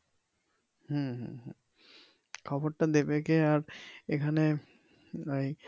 হম হম হম খবরটা দেবে কে আর এইখানে এই